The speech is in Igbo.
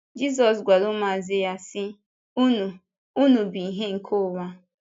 Jízọs gwara ụmụazụ ya, sị: “Unu “Unu bụ ìhè nke ụwa.”